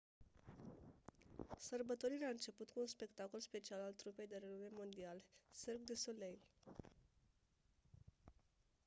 sărbătorirea a început cu un spectacol special al trupei de renume mondial cirque du soleil